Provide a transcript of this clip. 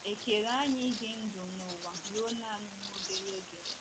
È kere anyị ịdị ndụ n’ụwa ruo nanị nwa obere oge?